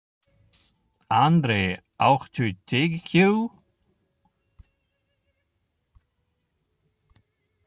André, áttu tyggjó?